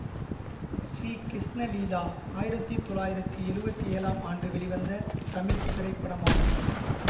ஸ்ரீ கிருஷ்ண லீலா ஆயிரத்தி தொள்ளாயிரத்தி எழுவத்தி ஏழாம் ஆண்டு வெளிவந்த தமிழ் திரைப்படமாகும்